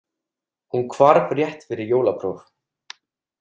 Hún hvarf rétt fyrir jólapróf.